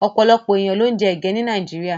Ọ̀pọ̀lọpọ̀ èèyàn ló ń jẹ ege ní Nàìjíríà.